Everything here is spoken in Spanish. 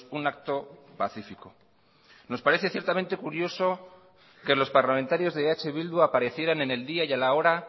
un acto pacífico nos parece ciertamente curioso que los parlamentarios de eh bildu aparecieran en el día y a la hora